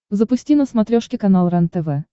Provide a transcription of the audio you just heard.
запусти на смотрешке канал рентв